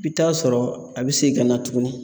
I bi t'a sɔrɔ a bi segin ka na tuguni.